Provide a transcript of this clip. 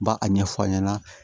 Ba a ɲɛfɔ an ɲɛna